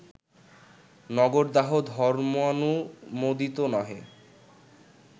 নগরদাহ ধর্মানুমোদিত নহে